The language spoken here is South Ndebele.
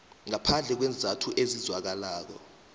ngaphandle kweenzathu ezizwakalako